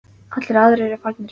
Allir aðrir eru farnir.